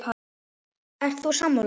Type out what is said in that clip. Ert þú sammála?